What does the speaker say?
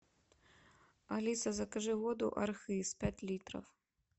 алиса закажи воду архыз пять литров